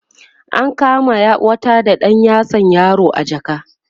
an kama wata da ɗan yatsan yaro a jaka